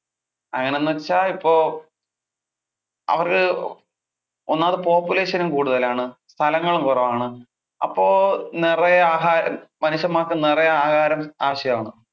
അങ്ങനെ എന്ന് വെച്ചാൽ ഇപ്പൊ അവരു ഒന്നാമത് population കൂടുതലാണ്, സ്ഥലങ്ങളും കുറവാണു അപ്പൊ നിറയെ ആഹാരം മനുഷ്യന്മാർക്ക് നിറയെ ആഹാരം ആവശ്യമാണ്.